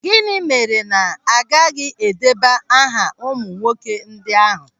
Gịnị mere na agaghị edeba aha ụmụ nwoke ndị ahụ?